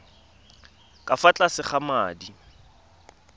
ka fa tlase ga madi